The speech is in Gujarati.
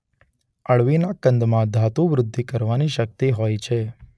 અળવીના કંદમાં ધાતુવૃદ્ધિ કરવાની પણ શક્તિ હોય છે.